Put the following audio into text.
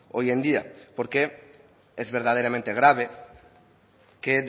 hoy en día porque es verdaderamente grave que